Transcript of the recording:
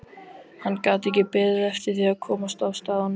Hann gat ekki beðið eftir því að komast af stað á Norðupólinn.